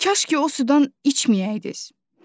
Kaş ki o sudan içməyəydiz.